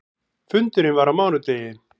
Fundurinn var á mánudegi.